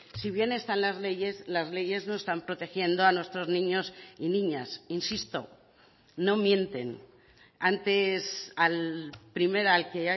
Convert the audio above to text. si bien están las leyes las leyes no están protegiendo a nuestros niños y niñas insisto no mienten antes al primero al que